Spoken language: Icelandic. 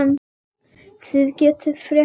Þið segið fréttir þykir mér!